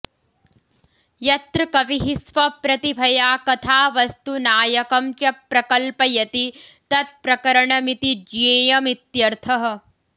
यत्र कविः स्वप्रतिभया कथावस्तु नायकं च प्रकल्पयति तत्प्रकरणमिति ज्ञेयमित्यर्थः